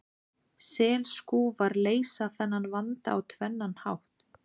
Skelskúfar leysa þennan vanda á tvennan hátt.